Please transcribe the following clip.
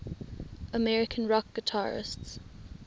american rock guitarists